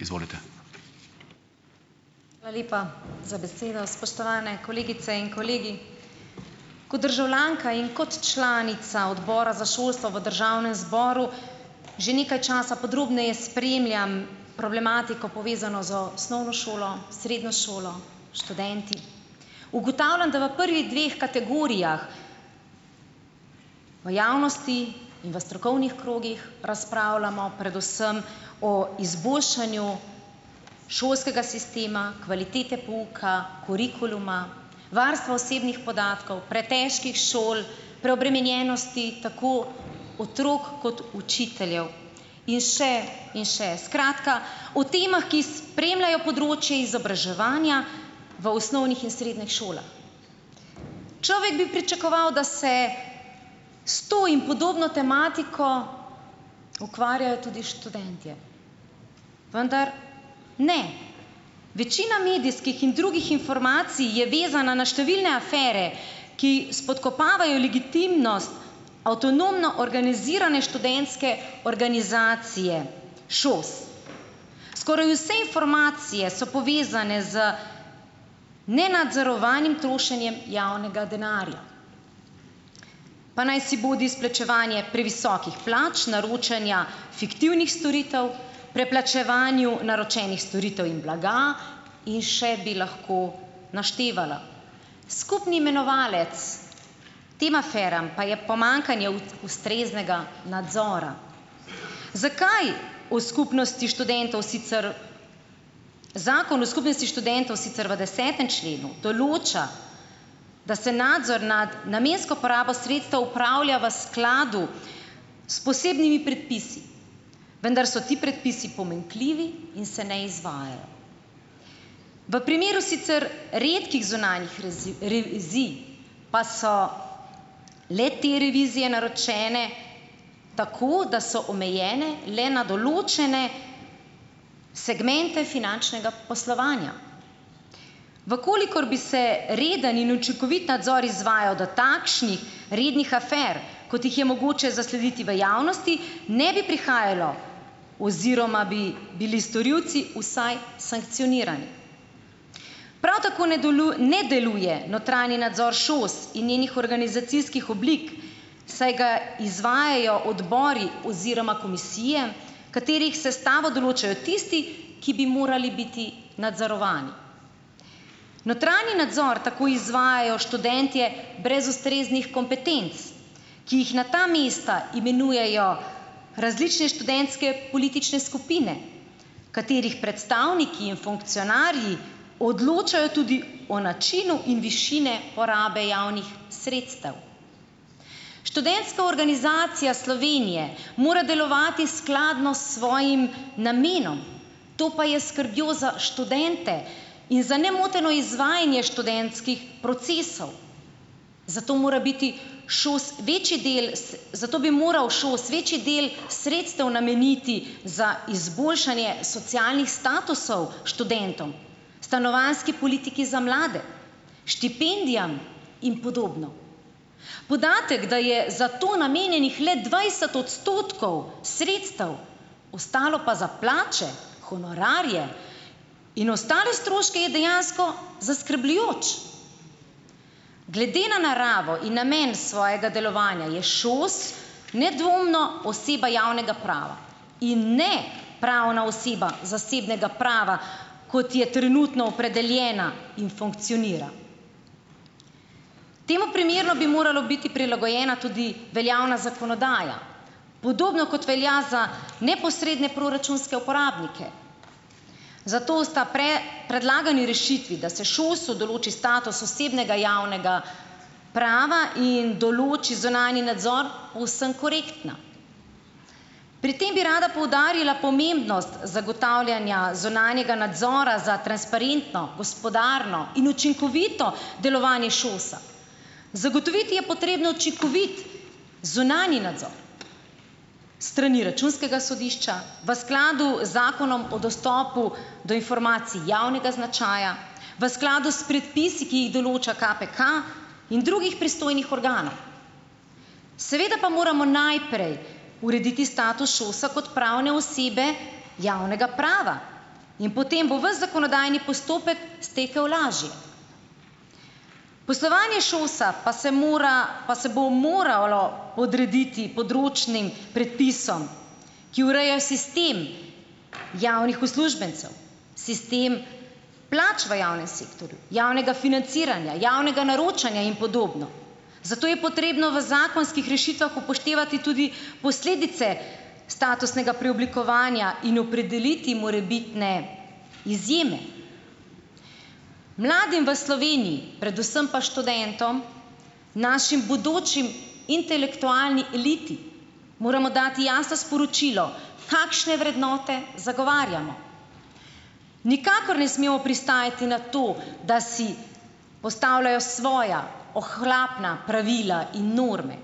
Izvolite, hvala lepa za besedo, spoštovane kolegice in kolegi. Kot državljanka in kot članica odbora za šolstvo v državnem zboru že nekaj časa podrobneje spremljam problematiko, povezano z osnovno šolo, srednjo šolo, študenti, ugotavljam, da v prvih dveh kategorijah v javnosti in v strokovnih krogih razpravljamo predvsem o izboljšanju šolskega sistema kvalitete pouka, kurikuluma, varstva osebnih podatkov, pretežkih šol, preobremenjenosti tako otrok kot učiteljev in še in še, skratka, o tem, ki spremljajo področje izobraževanja v osnovnih in srednjih šolah. Človek bi pričakoval, da se s to in podobno tematiko ukvarjajo tudi študentje, vendar ne, večina medijskih in drugih informacij je vezana na številne afere, ki spodkopavajo legitimnost avtonomno organizirane študentske organizacije ŠOS, skoraj vse informacije so povezane z nenadzorovanim trošenjem javnega denarja, pa najsibodi izplačevanje previsokih plač, naročanja fiktivnih storitev, preplačevanju naročenih storitev in blaga in še bi lahko naštevala. Skupni imenovalec tem aferam pa je pomanjkanje ustreznega nadzora. Zakaj? V skupnosti študentov sicer zakon o skupnosti študentov sicer v desetem členu določa, da se nadzor nad namensko porabo sredstev upravlja v skladu s posebnimi predpisi, vendar so ti predpisi pomanjkljivi in se ne izvajajo, v primeru sicer redkih zunanjih revizij pa so le-te revizije naročene, tako da so omejene le na določene segmente finančnega poslovanja, v kolikor bi se reden in učinkovit nadzor izvajal do takšnih rednih afer, kot jih je mogoče zaslediti v javnosti, ne bi prihajalo oziroma bi bili storilci vsaj sankcionirani, prav tako ne ne deluje notranji nadzor ŠOS in njenih organizacijskih oblik, saj ga izvajajo odbori oziroma komisije, katerih sestavo določajo tisti, ki bi morali biti nadzorovani. Notranji nadzor tako izvajajo študentje brez ustreznih kompetenc, ki jih na ta mesta imenujejo različne študentske politične skupine, katerih predstavniki in funkcionarji odločajo tudi o načinu in višine porabe javnih sredstev. Študentska organizacija Slovenije mora delovati skladno s svojim namenom, to pa je skrbjo za študente in za nemoteno izvajanje študentskih procesov, zato mora biti ŠOS večji del zato bi moral ŠOS večji del sredstev nameniti za izboljšanje socialnih statusov študentom, stanovanjski politiki za mlade, štipendijam in podobno. Podatek, da je za to namenjenih le dvajset odstotkov sredstev, ostalo pa za plače, honorarje in ostale stroške, je dejansko zaskrbljujoč glede na naravo in namen svojega delovanja je ŠOS nedvomno oseba javnega prava in ne pravna oseba zasebnega prava, kot je trenutno opredeljena in funkcionira, temu primerno bi morala biti prilagojena veljavna zakonodaja, podobno kot velja za neposredne proračunske uporabnike, zato sta predlagani rešitvi, da se ŠOS-u določi status osebnega javnega prava in določi zunanji nadzor, povsem korektna. Pri tem bi rada poudarila pomembnost zagotavljanja zunanjega nadzora za transparentno gospodarno in učinkovito delovanje ŠOS-a, zagotoviti je potrebno učinkovit zunanji nadzor strani računskega sodišča v skladu zakonom o dostopu do informacij javnega značaja, v skladu s predpisi, ki jih določa KPK, in drugih pristojnih organov, seveda pa moramo najprej urediti status ŠOS-a kot pravne osebe javnega prava in potem bo ves zakonodajni postopek stekel lažje. Poslovanje ŠOS-a pa se mora, pa se bo moralo podrediti področnim predpisom, ki urejajo sistem javnih uslužbencev, sistem plač v javnem sektorju, javnega financiranja, javnega naročanja in podobno, zato je potrebno v zakonskih rešitvah upoštevati tudi posledice statusnega preoblikovanja in opredeliti morebitne izjeme. Mladim v Sloveniji, predvsem pa študentom, naši bodoči intelektualni eliti, moramo dati jasno sporočilo, kakšne vrednote zagovarjamo, nikakor ne smemo pristajati na to, da si postavljajo svoja ohlapna pravila in norme,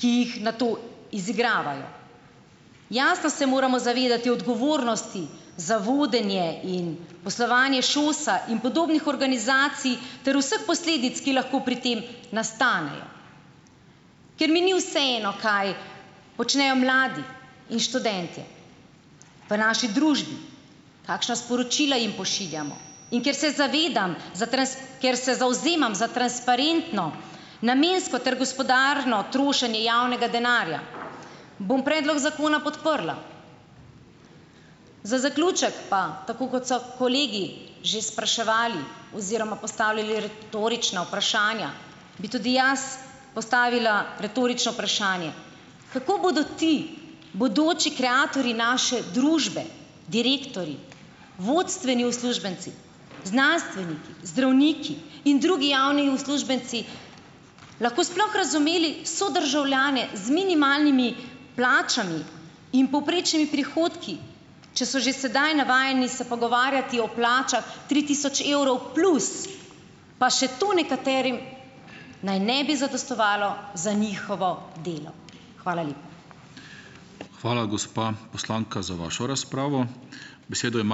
ki jih nato izigravajo, jasno se moramo zavedati odgovornosti za vodenje in poslovanje ŠOS-a in podobnih organizacij ter vseh posledic, ki lahko pri tem nastanejo, ker mi ni vseeno, kaj počnejo mladi in študentje v naši družbi, kakšna sporočila jim pošiljamo, in ker se zavedam ker se zavzemam za transparentno namensko ter gospodarno trošenje javnega denarja, bom predlog zakona podprla. Za zaključek pa tako, kot so kolegi že spraševali oziroma postavljali retorična vprašanja, bi tudi jaz postavila retorično vprašanje, kako bodo ti bodoči kreatorji naše družbe, direktorji, vodstveni uslužbenci, znanstveniki, zdravniki in drugi javni uslužbenci lahko sploh razumeli sodržavljane z minimalnimi plačami in povprečnimi prihodki, če so že sedaj navajeni se pogovarjati o plačah tri tisoč evrov plus, pa še to nekaterim naj ne bi zadostovalo za njihovo delo. Hvala lepa. Hvala, gospa poslanka, za vašo razpravo. Besedo ima ...